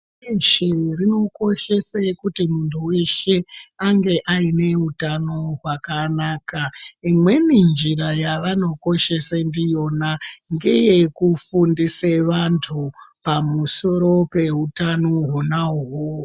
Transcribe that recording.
Pashi reshe rinokoshese kuti muntu weshe, ange aine utano hwakanaka. Imweni njira yavanokoshese ndiyona, ngeyekufundise vantu, pamusoro peutano hwona uhoho.